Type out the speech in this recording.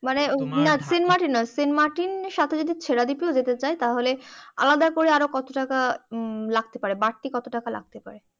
মানে তোমার saint Martin নয় সাথে যদি সেরাদ্বীপ যেতে চায় তাহলে আলাদা করে আরো কত টাকা লাগতে পারে বাড়তি কত টাকা লাগতে পারে